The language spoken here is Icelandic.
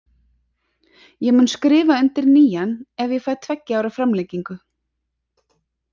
Ég mun skrifa undir nýjan ef ég fæ tveggja ára framlengingu.